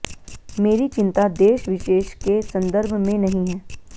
मेरी चिंता देश विशेष के संदर्भ में नहीं है